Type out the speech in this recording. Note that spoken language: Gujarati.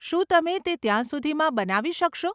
શું તમે તે ત્યાં સુધીમાં બનાવી શકશો?